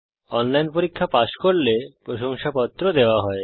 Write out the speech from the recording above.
online পরীক্ষা pass করলে প্রশংসাপত্র দেওয়া হয়